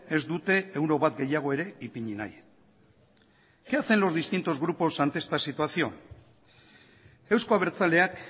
ez dute euro bat gehiago ere ipini nahi qué hacen los distintos grupos ante esta situación euzko abertzaleak